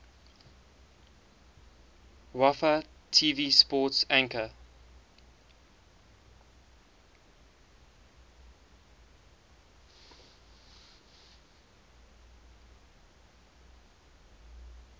wfaa tv sports anchor